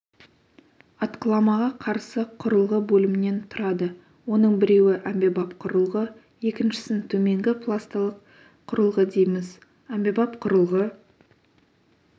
атқыламаға қарсы құрылғы бөлімнен тұрады оның біреуі әмбебап құрылғы екіншісін төменгі пласталық құрылғы дейміз әмбебап құрылғы